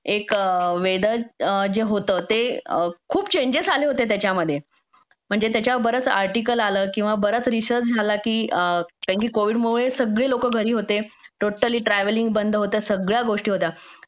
एक वेदर जे होतं ते खूप चेंजेस आले होते त्याच्यामध्ये म्हणजे त्याच्यावर बरच आर्टिकल आलं म्हणजे त्याच्यावर बराच रिसर्च झाला की कारण की कोविडमुळे सगळी लोकं घरी होते टोटली ट्रॅव्हलिंग बंद होतं सगळ्या गोष्टी होत्या